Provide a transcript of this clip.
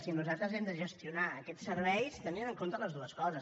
i nosaltres hem de gestionar aquests serveis tenint en compte totes dues coses